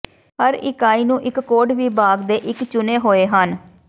ਹਰ ਇਕਾਈ ਨੂੰ ਇੱਕ ਕੋਟ ਵਿਭਾਗ ਦੇ ਇੱਕ ਚੁਣੇ ਹੋਏ ਹਨ